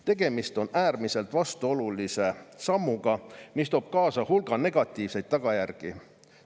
Tegemist on äärmiselt vastuolulise sammuga, mis toob kaasa hulga negatiivseid tagajärgi.